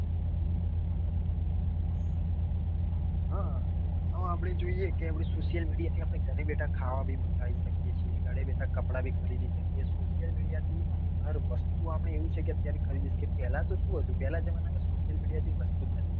હા આમ આપડે જોઈએ તો social media ઘરે બેઠા અપડે ખાવા બી મંગાવી શકીએ છીએ. ઘરે બેઠા કપડા બી ખરીદી શકીએ છીએ social media થી હર વસ્તુ આપડે એવું છે કે ખરીદી શકીએ છીએ. પેલા તો શું હતું પેલા જમાના માં તો social media જેવી કોઈ વસ્તુજ નતી.